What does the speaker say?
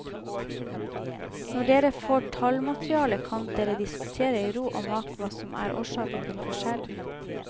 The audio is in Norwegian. Når dere får tallmaterialet kan dere diskutere i ro og mak hva som er årsaken til forskjellen.